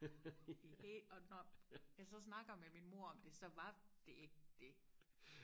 og det når jeg så snakker med min mor om det så var det ikke det